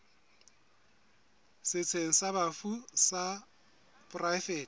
setsheng sa bafu sa poraefete